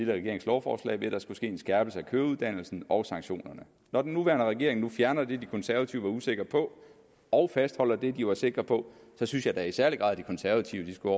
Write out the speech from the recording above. regerings lovforslag ved at der skulle ske en skærpelse af køreuddannelsen og sanktionerne og den nuværende regering så fjerner det de konservative var usikre på og fastholder det de var sikre på synes jeg da i særlig grad de konservative skulle